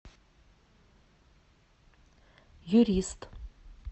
юрист